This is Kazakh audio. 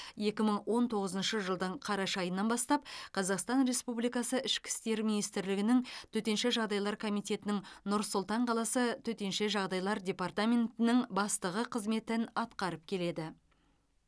екі мың он тоғызыншы жылдың қараша айынан бастап қазақстан республикасы ішкі істер министрлігінің төтенше жағдайлар комитетінің нұр сұлтан қаласы төтенше жағдайлар департаментінің бастығы қызметін атқарып келеді